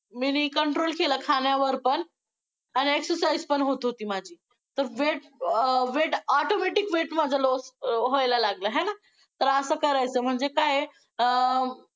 मी नी control केलं खाण्यावर पण आणि exercise पण होत होती माझी, तर weight, automatic weight माझं loss व्हायला लागलं होय ना, तर अ करायचं म्हणजे काय आहे अं